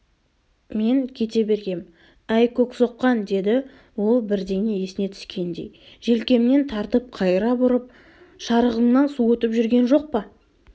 мен кете бергем әй көксоққан деді ол бірдеңе есіне түскендей желкемнен тартып қайыра бұрып шарығыңнан су өтіп жүрген жоқ па